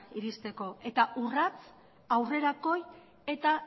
iristeko eta urrats aurrerakoi eta